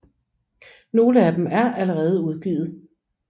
Nogle af dem er allerede udgivet